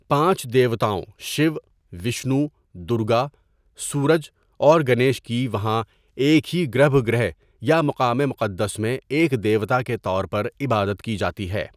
پانچ دیوتاؤں شیو، وشنو، درگا، سورج اور گنیش کی وہاں ایک ہی گربھ گرہ یا مقام مقدّس میں ایک دیوتا کے طور پر عبادت کی جاتی ہے.